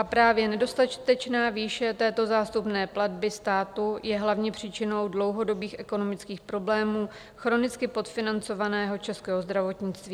A právě nedostatečná výše této zástupné platby státu je hlavně příčinou dlouhodobých ekonomických problémů chronicky podfinancovaného českého zdravotnictví.